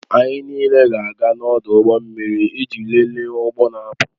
Anyị niile ga-aga n'ọdụ ụgbọ mmiri iji lelee ụgbọ na-apụ